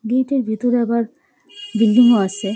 গেটের ভিতরে আবার বিল্ডিং -ও আসে।